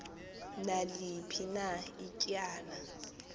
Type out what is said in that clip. naliphi na ityala